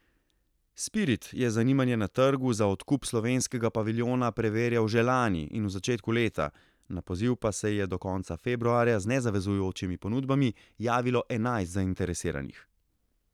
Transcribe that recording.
Spirit je zanimanje na trgu za odkup slovenskega paviljona preverjal že lani in v začetku leta, na poziv pa se je do konca februarja z nezavezujočimi ponudbami javilo enajst zainteresiranih.